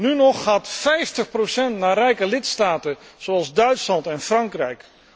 Nu nog gaat vijftig procent naar rijke lidstaten zoals Duitsland en Frankrijk.